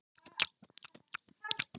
Ávextir og grænmeti eru rík af vítamínum.